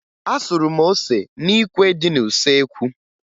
Asụrụ m ose n'ikwe dị n'usoekwu